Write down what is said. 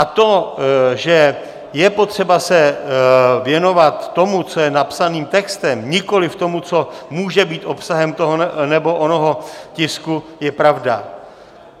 A to, že je potřeba se věnovat tomu, co je napsaným textem, nikoli tomu, co je může být obsahem toho nebo onoho tisku, je pravda.